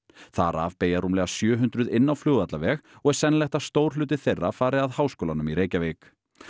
þar af beygja rúmlega sjö hundruð inn á Flugvallarveg og er sennilegt að stór hluti þeirra fari að Háskólanum í Reykjavík